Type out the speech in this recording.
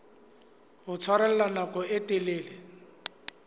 ho tshwarella nako e telele